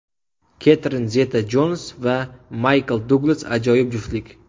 Ketrin Zeta-Jons va Maykl Duglas ajoyib juftlik.